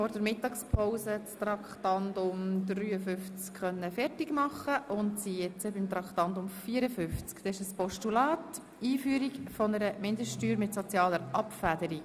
Vor der Mittagspause konnten wir das Traktandum 52 abschliessen, und da Traktandum 53 verschoben wurde, kommen wir nun zu Traktandum 54.